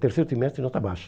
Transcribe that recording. Terceiro trimestre, nota baixa.